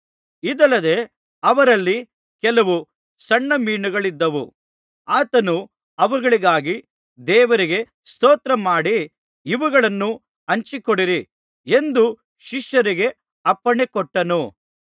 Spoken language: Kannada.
ಇದಲ್ಲದೆ ಅವರಲ್ಲಿ ಕೆಲವು ಸಣ್ಣ ಮೀನುಗಳಿದ್ದವು ಆತನು ಅವುಗಳಿಗಾಗಿ ದೇವರಿಗೆ ಸ್ತೋತ್ರಮಾಡಿ ಇವುಗಳನ್ನೂ ಹಂಚಿಕೊಡಿರಿ ಎಂದು ಶಿಷ್ಯರಿಗೆ ಅಪ್ಪಣೆ ಕೊಟ್ಟನು